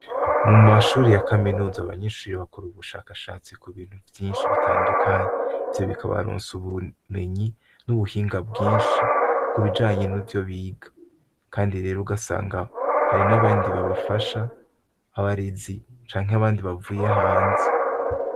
Mumashuri ya kaminuza abanyeshure bakora ubushakashatsi kubintu vyinshi bitandukanye, ivyo bikabaronsa ubumenyi n'ubuhinga bwinshi kubijanye n'ivyo biga. Kandi rero ugasanga hari n'abandi babafasha, abarezi canke abandi bavuye hanze.